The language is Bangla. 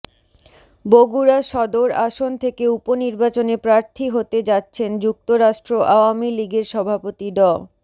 বগুড়া সদর আসন থেকে উপনির্বাচনে প্রার্থী হতে যাচ্ছেন যুক্তরাষ্ট্র আওয়ামী লীগের সভাপতি ড